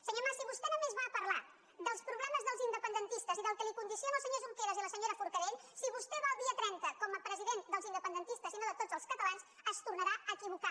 senyor mas si vostè només va a parlar dels problemes dels independentistes i del que el condicionen el senyor junqueras i la senyora forcadell si vostè va el dia trenta com a president dels independentistes i no de tots els catalans es tornarà a equivocar